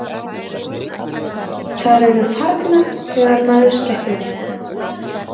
Þær eru farnar þegar maður sleppir þeim.